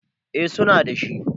eh suna da shi